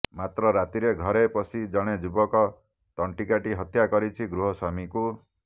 ମାତ୍ର ରାତିରେ ଘରେ ପଶି ଜଣେ ଯୁବକ ତଣ୍ଟି କାଟି ହତ୍ୟା କରିଛି ଗୃହସ୍ୱାମୀଙ୍କୁ